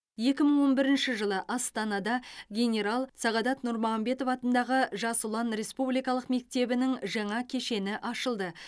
екі мың он бірінші жылы астанада генерал сағадат нұрмағамбетов атындағы жас ұлан республикалық мектебінің жаңа кешені ашылды